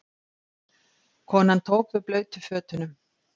Konan tók við blautu fötunum.